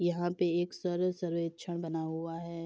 यहां पे एक सर्वे सर्वेक्षण बना हुआ है।